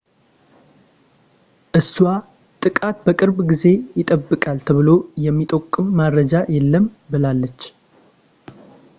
እሷ ጥቃት በቅርብ ጊዜ ይጠበቃል ተብሎ የሚጠቁም መረጃ የለም ብላለች